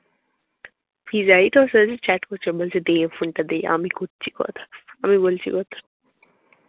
ফিজাই তোর সাথে chat করেছে, বলছে দে ফোনটা দে, আমি কচ্ছি কথা। আমি বলছি কথা।